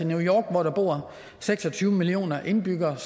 new york hvor der bor seks og tyve millioner indbyggere